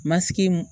Masigi